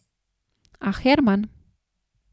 A, Herman?